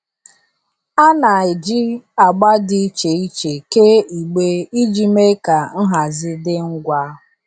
A na-eji agba dị iche iche kee igbe iji mee ka nhazi dị ngwa.